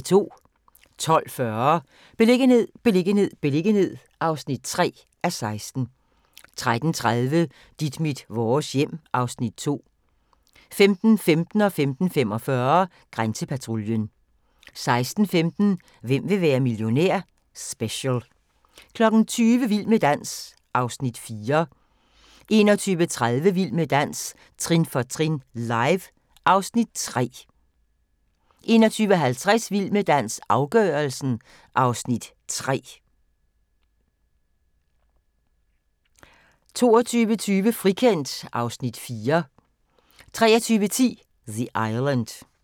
12:40: Beliggenhed, beliggenhed, beliggenhed (3:16) 13:30: Dit mit vores hjem (Afs. 2) 15:15: Grænsepatruljen 15:45: Grænsepatruljen 16:15: Hvem vil være millionær? Special 20:00: Vild med dans (Afs. 4) 21:30: Vild med dans – trin for trin, live (Afs. 3) 21:50: Vild med dans – afgørelsen (Afs. 3) 22:20: Frikendt (Afs. 4) 23:10: The Island